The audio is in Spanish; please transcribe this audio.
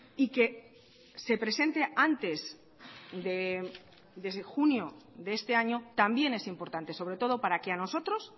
y que se presente antes de junio de este año también es importante sobre todo para que a nosotros